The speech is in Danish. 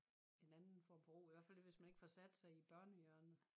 En anden form for ro i hvert fald hvis man ikke får sat sig i børnehjørnet